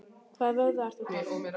Hvaða vöðva ertu að tala um?